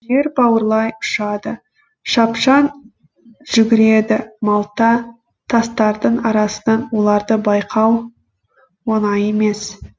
жер бауырлай ұшады шапшаң жүгіреді малта тастардың арасынан оларды байқау оңай емес